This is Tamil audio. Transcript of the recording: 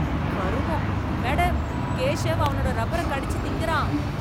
கருமம்! மேடம், கேசவ் அவனோட ரப்பர கடிச்சு திங்கறான்.